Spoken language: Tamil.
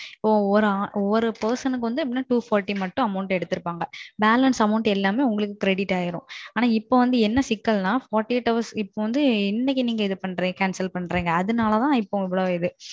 ஒரு person எரநூத்தி நாற்பது ரூபாய் மட்டும் Amount எடுத்துருப்பாங்க Balance Amount எல்லாம் உங்களுக்கு Credit ஆகிடும் அனா இப்போ வந்து என்ன சிக்கல் நா நாற்பத்து எட்டு மணிநேரத்துக்கு இன்னைக்கு நீங்க Cancel பண்றீங்க அது நாலா தான்